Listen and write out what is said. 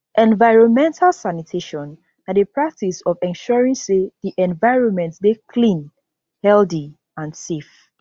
environmental sanitation na di practice of ensuring say di environment dey clean healthy and safe